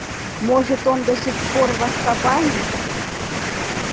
может он до сих пор в азкабане